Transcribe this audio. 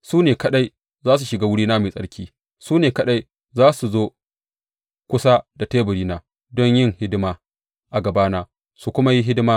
Su ne kaɗai za su shiga wurina mai tsarki; su ne kaɗai za su zo kusa da teburina don yin hidima a gabana su kuma yi hidimata.